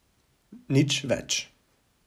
Nič več.